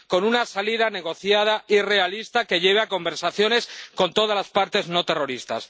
Con una salida negociada y realista que lleve a conversaciones con todas las partes no terroristas.